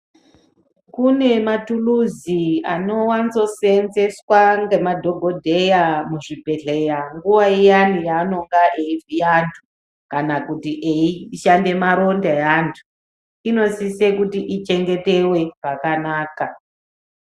Kune mathuluzi anowanzoseenzeswa ngemadhogodheya muzvibhehleya nguva iyani yaanonga eivhiya antu kana kuti eishande maronda eantu, inosise kuti ichengetewe pakanaka.